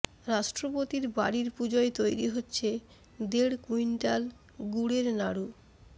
রাষ্ট্রপতির বাড়ির পুজোয় তৈরি হচ্ছে দেড় কুইণ্টাল গুড়ের নাড়ু